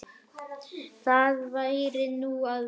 Það væri nú verra.